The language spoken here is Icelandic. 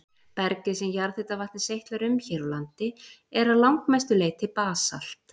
Bergið sem jarðhitavatnið seytlar um hér á landi er að langmestu leyti basalt.